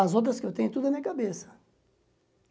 As outras que eu tenho, tudo é minha cabeça.